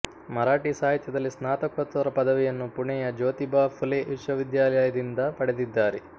ಮರಾಠಿ ಸಾಹಿತ್ಯದಲ್ಲಿ ಸ್ನಾತಕೋತ್ತರ ಪದವಿಯನ್ನು ಪುಣೆಯ ಜ್ಯೋತಿಬಾ ಫುಲೆ ವಿಶ್ವವಿದ್ಯಾಲಯದಿಂದ ಪಡೆದಿದ್ದಾರೆ